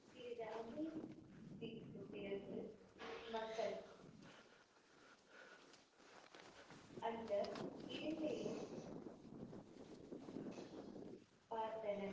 சிறிது அமைதிக்கு பிறகு மக்கள் அந்த இரண்டையும் பார்த்தனர்.